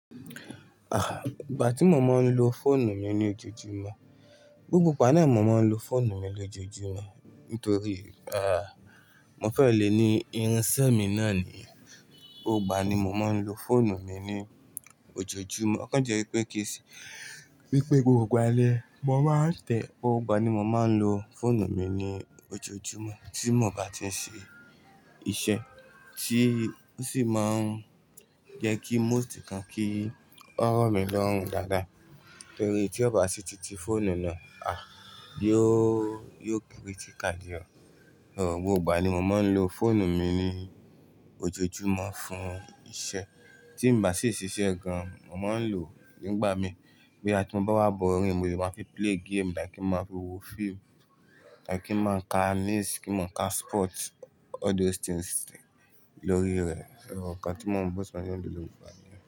Ìgbà tí mo máa ń lo fóònù mi ní ojoojúmọ́, gbogbo ìgbà náà mi mo máa ń lo fóònù mi lójoojúmọ́ nítorí, mo fẹ́ lè ní irinṣẹ́ mi náà níi. Gbogbo ìgbà ni mo máa ń lo fóònù mi ní ojoojúmọ́. Ọ̀kan jẹ́ wípé kìí ṣe wípé gbogbo ìgbà ni mo máa ń tẹ̀ ẹ́. Gbogbo ìgbà ni mo máa ń lo fóònù mi ní ojoojúmọ́ tí mo bá ti ń ṣe iṣẹ́ tí ó sì máàn jẹ́ kí most nǹkan kí ó rọ̀mí lọ́rùn dáadáa nítorí tí ọ bá ṣí titi fóònù náà, yi ó, yóò critical díẹ̀ ọ. Gbogbo ìgbà ni mo máa ń lo fóònù mi ní ojoojúmọ́ fún iṣẹ́ tí n bá sì ṣiṣẹ́ gan. Mo máa ń lò ó nígbà mi bóyá tí mo bá wà boring mò lè máa fi play game, like kí n máa fi wo fíìmù, tàbí kí n máa ka news, kí n máa ka sport, all those things lórí rẹ̀. Ọ, nǹkan tí mo ń bú sí wá ni mo ń lò ó ní gbogbo ìgbà ni.